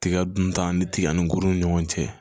Tiga dun tan ni tiga ni kurun ni ɲɔgɔn cɛ